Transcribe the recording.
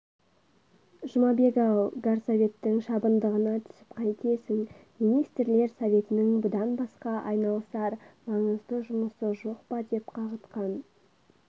жұмабек-ау горсоветтің шабындығына түсіп қайтесің министрлер советінің бұдан басқа айналысар маңызды жұмысы жоқ па деп қағытқан